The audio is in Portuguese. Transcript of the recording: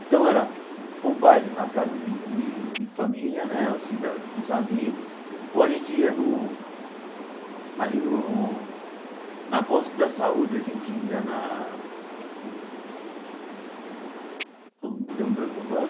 Então era ou baile na casa de de de família né, assim da dos amigos, ou a gente ia no ali no na bosque da saúde, a gente ia na uh... Deu um branco agora.